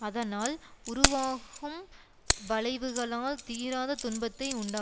அதனால் உருவாகும் வளைவுகளால் தீராத துன்பத்தை உண்டாக்